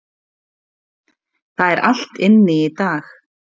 Það er allt inni í dag.